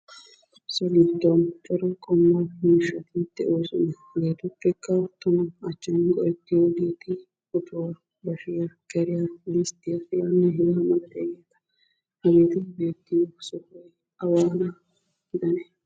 So giddon cora qommo miishshati de'oosona. Hegeetuppekka tama achchan nu go'ettiyogeeti otuwa, bashiya, keriya, disttiya hegaanne hegaa malatiyageeta. Hegeeti beettiyo sohoy awaana gidanee?